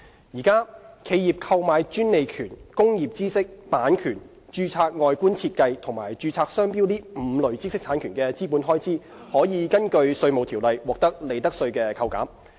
現時，企業購買專利權、工業知識、版權、註冊外觀設計和註冊商標5類知識產權的資本開支，可以根據《稅務條例》獲得利得稅扣減。